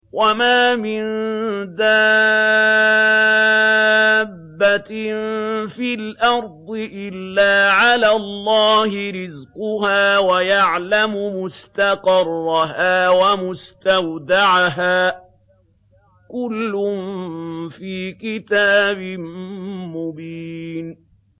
۞ وَمَا مِن دَابَّةٍ فِي الْأَرْضِ إِلَّا عَلَى اللَّهِ رِزْقُهَا وَيَعْلَمُ مُسْتَقَرَّهَا وَمُسْتَوْدَعَهَا ۚ كُلٌّ فِي كِتَابٍ مُّبِينٍ